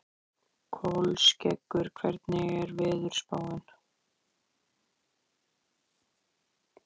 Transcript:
Kolskeggur, hvernig er veðurspáin?